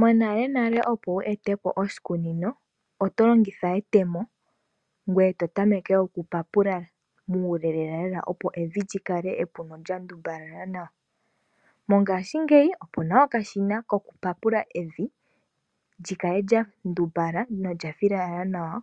Monale nale opo wu ete po oshikunino oto longitha etemo, ngoye to tameke okupapula muule lela lela opo evi li kale epu nolya ndumbala nawa. Mongashingeyi opuna okashina koku papula evi likale lyandumbala nawa nolya filala nawa